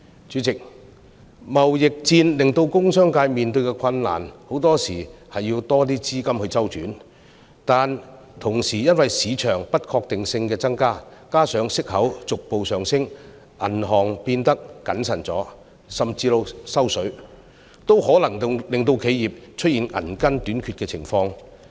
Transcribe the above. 主席，貿易戰令工商界面對困難，很多時候要較多資金周轉，但同時因為市場的不確定性增加，加上息口逐步上升，銀行變得較謹慎甚至"收水"，也可能令企業出現銀根短缺的情況。